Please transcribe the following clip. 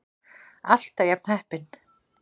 Alltaf jafn heppinn!